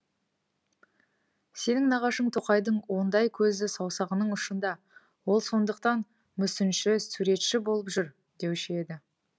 сенің нағашың тоқайдың ондай көзі саусағының ұшында ол сондықтан мүсінші суретші болып жүр деуші еді